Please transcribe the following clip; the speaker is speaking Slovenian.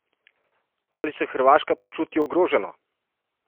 Ali se Hrvaška počuti ogroženo?